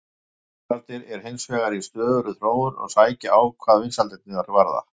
Rafbílarnir eru hins vegar í stöðugri þróun og sækja á hvað vinsældirnar varðar.